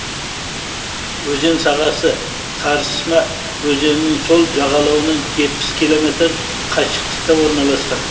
өзен сағасы тарсьма өзенінің сол жағалауынан жетпіс километр қашықтықта орналасқан